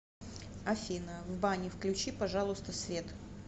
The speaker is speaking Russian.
афина в бане включи пожалуйста свет